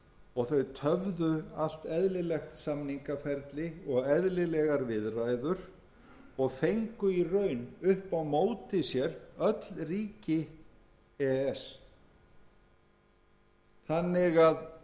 og þau töfðu allt eðlilegt samningaferli og eðlilegar viðræður og fengu í raun upp á móti sér öll ríki e e s þannig að